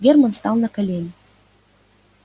германн стал на колени